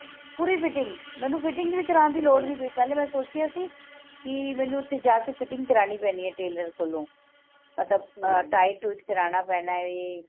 ਪੂਰੀ fitting ਮੈਨੂੰ fitting ਵੀ ਕਰਨ ਦੀ ਲੋੜ ਨਹੀਂ ਪਯੀ ਪਹਿਲੇ ਮੈਂ ਸੋਚਿਆ ਸੀ ਕਿ ਮੈਨੂੰ ਓਥੇ ਜਾ ਕੇ fitting ਕਰਾਣੀ ਪੈਣੀ ਏ tailor ਕੋਲੋਂ ਮਤਲਬ tight suit ਕਰਨਾ ਪੈਣਾ